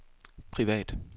privat